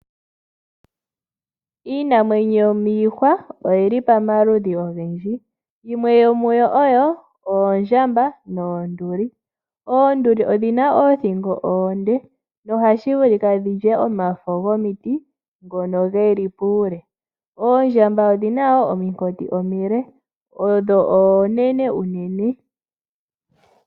Iinamwenyo yomiihwa oyili pamaludhi ogendji yimwe yomuyo oyo oondjamba noonduli oonduli odhi na oothingo oonde nohashi vulika dhilye omafo gomiti dhono dhili puule oondjamba odhi na wo omakoti omale odho oonene uunene.